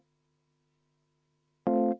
Selge.